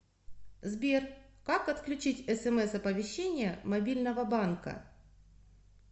сбер как отключить смс оповещение мобильного банка